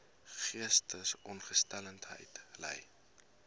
geestesongesteldheid ly